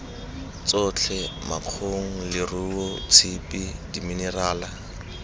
tsotlhe makgong leruo tshipi diminerala